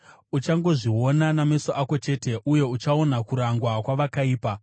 Uchangozviona nameso ako chete, uye uchaona kurangwa kwavakaipa.